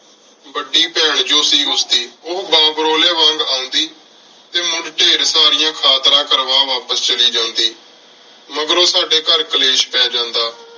ਵਾਦੀ ਬੇਹਨ ਜੋ ਸੀ ਉਸ ਦੀ ਓਹ ਵਾ ਵਾਰੋਲ੍ਯ ਵਾਂਗ ਅਉਂਦੀ ਟੀ ਮੁੜ੍ਹ ਢੇਰ ਸਾਰਿਆ ਖਾਤਰਾ ਕਰਵਾ ਵਾਪਿਸ ਚਲੀ ਜਾਂਦੀ ਮਗਰੋਂ ਸਾਡੀ ਘਰ ਕਲੇਸ਼ ਪੀ ਜਾਂਦਾ